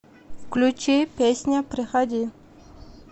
включи песня приходи